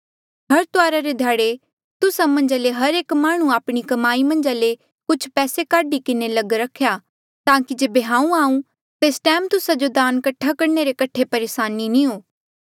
हर तुआरा रे ध्याड़े तुस्सा मन्झा ले हर एक माह्णुं आपणी कमाई मन्झ ले कुछ पैसे काढी किन्हें लग रखेया ताकि जेबे हांऊँ आऊ तेस टैम तुस्सा जो दान कठा करणे रे कठे परेसानी नी हो